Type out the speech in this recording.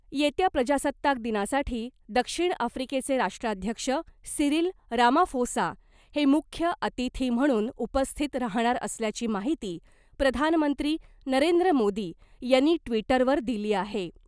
येत्या प्रजासत्ताक दिनासाठी दक्षिण आफ्रीकेचे राष्ट्राध्यक्ष सीरील रामाफोसा हे मुख्य अतिथी म्हणून उपस्थित राहाणार असल्याची माहिती प्रधानमंत्री नरेंद्र मोदी यांनी ट्वीटरवर दिली आहे .